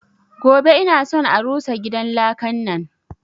Gobe ina son a rusa gidan lakan nan!